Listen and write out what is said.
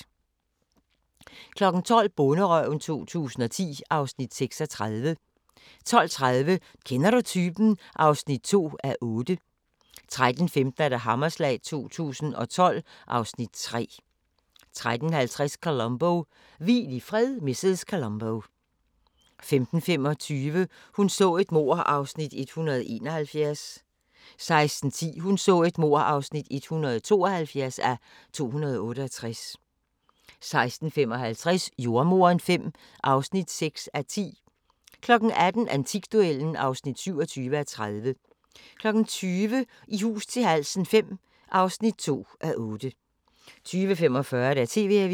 12:00: Bonderøven 2010 (Afs. 36) 12:30: Kender du typen? (2:8) 13:15: Hammerslag 2012 (Afs. 3) 13:50: Columbo: Hvil i fred, mrs. Columbo 15:25: Hun så et mord (171:268) 16:10: Hun så et mord (172:268) 16:55: Jordemoderen V (6:10) 18:00: Antikduellen (27:30) 20:00: I hus til halsen V (2:8) 20:45: TV-avisen